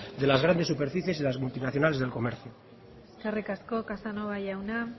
de las grandes superficies y de las multinacionales del comercio eskerrik asko casanova jauna